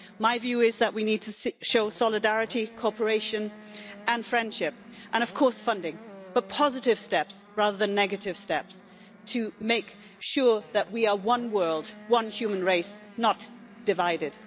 My view is that we need to show solidarity, cooperation and friendship, and of course funding, but positive rather than negative steps to make sure that we are one world and one human race, not divided.